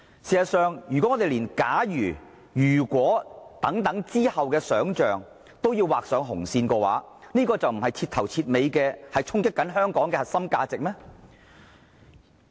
事實上，如果我們連"假如"和"如果"之後的想象也要劃上紅線，這豈非徹頭徹尾地在衝擊香港的核心價值嗎？